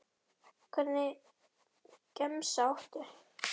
Hvernig gemsa áttu?